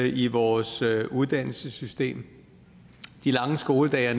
i vores uddannelsessystem de lange skoledage er